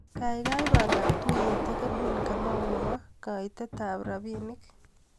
Kaikai pangan tuiyet ak Edwin Kamau nebo kaitetap rapinik.